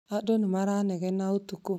Andũ ni maranegena ũtukũ